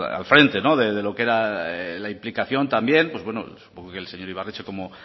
al frente no de lo que era la implicación también pues supongo que el señor ibarretxe como